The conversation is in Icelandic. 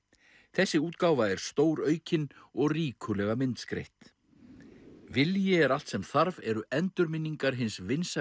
þessi útgáfa er stóraukin og ríkulega myndskreytt vilji er allt sem þarf eru endurminningar hins vinsæla